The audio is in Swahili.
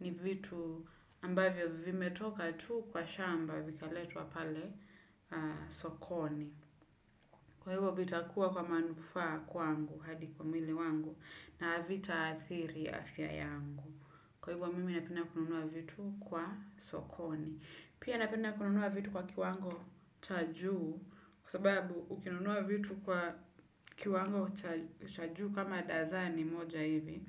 ni vitu ambavyo vimetoka tu kwa shamba vikaletwa pale sokoni. Kwa hivyo vitakuwa kwa manufaa kwangu hadi kwa mwili wangu na havitaathiri afya yangu. Kwa hivyo mimi napenda kununua vitu kwa sokoni. Pia napenda kununua vitu kwa kiwango cha juu kwa sababu ukinunua vitu kwa kiwango cha juu kama dazani moja hivi.